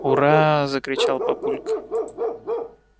ура закричал папулька